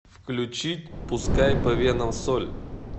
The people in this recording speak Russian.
включить пускай по венам соль